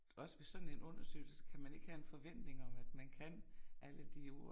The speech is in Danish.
Også ved sådan en undersøgelse så kan man ikke have en forventning om at man kan alle de ord